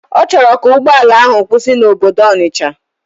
Ọchọrọ ka ugbọala ahu kwusi na obodo Onitsha.